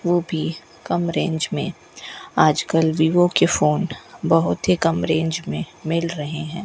वो भी कम रेंज में आज कल वीवो के फोन बहुत ही कम रेंज में मिल रहे हैं।